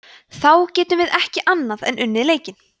þá getum við ekki annað en unnið leikinn